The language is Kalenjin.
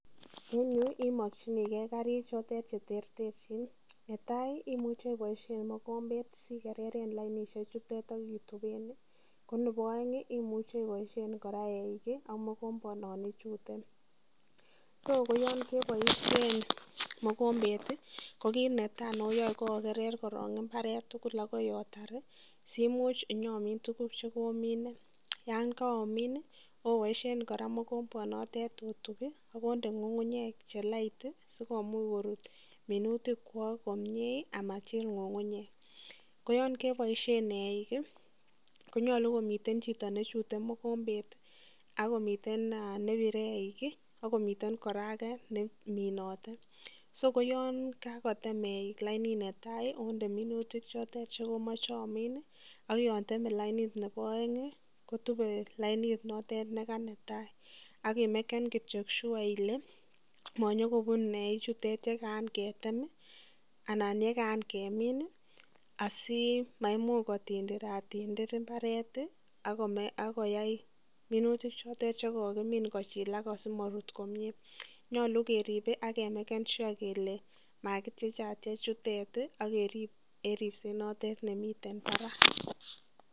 eng yu imakyiniken karik chotet cheterterchin netai imuche iboisyen mokombet sikereren lainishek chutet akituben, ko nebo aeng imuche iboisyen koraa eik ak mokombanon ichute, so ko yon kebaisyen mokombet ko kit netai nayae ko akerer koron imbaret.